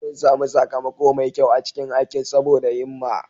Sun sami sakamako mai kyau a cikin aikin saboda himma.